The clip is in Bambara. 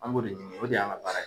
An b'o de ɲini o de y'an' ŋa baara ye.